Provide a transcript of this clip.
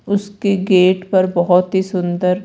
उसके गेट पर बोहोत ही सुंदर--